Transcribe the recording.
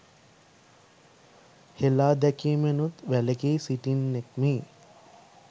හෙලාදැකීමෙනුත් වැලකී සිටින්නෙක්මි